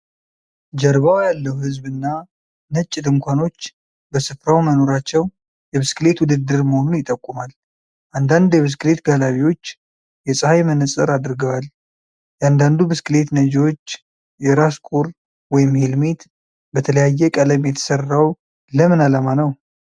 ጀርባው ያለው ሕዝብ እና ነጭ ድንኳኖች በሥፍራው መኖራቸው የብስክሌት ውድድር መሆኑን ይጠቁማል። አንዳንድ የብስክሌት ጋላቢዎች የፀሐይ መነጽር አድርገዋል። የእያንዳንዱ ብስክሌት ነጂዎች የራስ ቁር (ሄልሜት) በተለያየ ቀለም የተሰራው ለምን ዓላማ ነው?